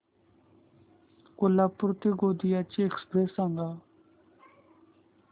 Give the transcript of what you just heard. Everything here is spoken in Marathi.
कोल्हापूर ते गोंदिया ची एक्स्प्रेस सांगा